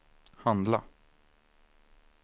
handla